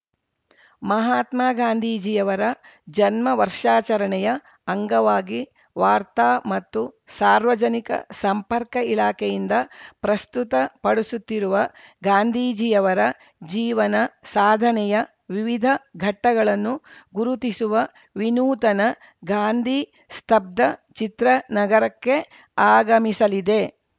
ಮಹಾತ್ಮ ಗಾಂಧೀಜಿಯವರ ಜನ್ಮ ವರ್ಷಾಚರಣೆ ಅಂಗವಾಗಿ ವಾರ್ತಾ ಮತ್ತು ಸಾರ್ವಜನಿಕ ಸಂಪರ್ಕ ಇಲಾಖೆಯಿಂದ ಪ್ರಸ್ತುತ ಪಡಿಸುತ್ತಿರುವ ಗಾಂಧೀಜಿಯರವರ ಜೀವನ ಸಾಧನೆಯ ವಿವಿಧ ಘಟ್ಟಗಳನ್ನು ಗುರುತಿಸುವ ವಿನೂತನ ಗಾಂಧಿ ಸ್ತಬ್ದ ಚಿತ್ರ ನಗರಕ್ಕೆ ಆಗಮಿಸಲಿದೆ